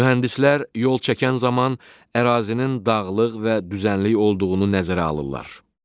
Mühəndislər yol çəkən zaman ərazinin dağlıq və düzənlik olduğunu nəzərə alırlar.